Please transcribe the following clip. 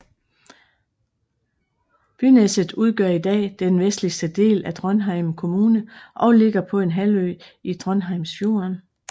Byneset udgør i dag den vestligste del af Trondheim kommune og ligger på en halvø i Trondheimsfjorden